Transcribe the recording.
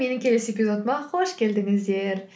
менің келесі эпизодыма қош келдіңіздер